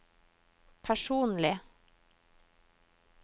personlig